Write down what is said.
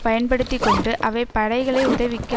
பயன்படுத்தி கொண்டு அவை படைகளை உதவிக்கு